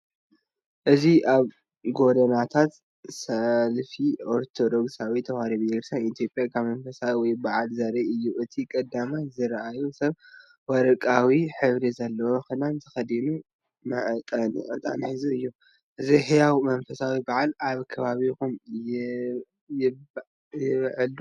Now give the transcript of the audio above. እዚ ኣብ ጎደናታት ሰልፊ ኦርቶዶክሳዊት ተዋህዶ ቤተክርስቲያን ኢትዮጵያ ኣብ መንፈሳዊ ወይ በዓል ዘርኢ እዩ። እቲ ቀዳማይ ዝራእየ ሰብ ወርቃዊ ሕብሪ ዘለዎ ክዳን ተኸዲኑ መዕጠኒ ዕጣን ሒዙ እዩ። እዚ ህያው መንፈሳዊ በዓል ኣብ ከባቢኹም ይበዓል ድዩ?